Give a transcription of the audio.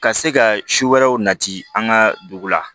Ka se ka si wɛrɛw nati an ka dugu la